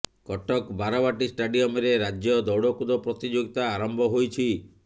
କଟକ ବାରବାଟୀ ଷ୍ଟାଡିୟମରେ ରାଜ୍ୟ ଦୌଡ଼କୁଦ ପ୍ରତିଯୋଗିତା ଆରମ୍ଭ ହୋଇଛି